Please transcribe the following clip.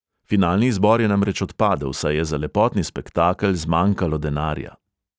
Finalni izbor je namreč odpadel, saj je za lepotni spektakel zmanjkalo denarja.